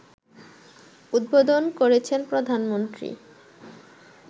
উদ্বোধন করেছেন প্রধানমন্ত্রী